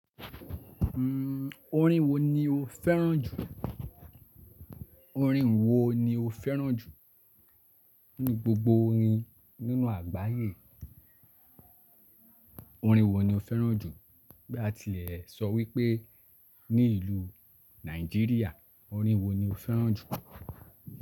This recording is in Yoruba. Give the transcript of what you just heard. Hmm, orin wo ni o féràn jù? Orin wo ni o féràn jù ní gbogbo orin nínú àgbáyé? Orin wo ni o féràn jù? Bí a tilẹ̀ sọ wípé ní ìlú Nàìjíríà orin wo ni o féràn jù?